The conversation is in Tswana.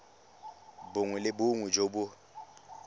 bongwe le bongwe jo bo